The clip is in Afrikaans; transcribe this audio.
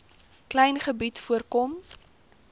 klein gebied voorkom